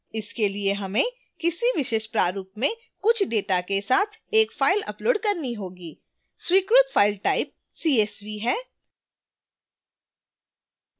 इसके लिए हमें किसी विशेष प्रारूप में कुछ data के साथ एक फ़ाइल upload करनी होगी स्वीकृत file type csv है